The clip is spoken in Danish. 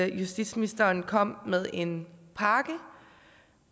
justitsministeren kom med en pakke